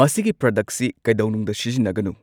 ꯃꯁꯤꯒꯤ ꯄ꯭ꯔꯗꯛꯁꯤ ꯀꯩꯗꯧꯅꯨꯡꯗ ꯁꯤꯖꯤꯟꯅꯒꯅꯨ